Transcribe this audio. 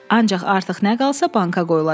Ancaq artıq nə qalsa banka qoyulacaq.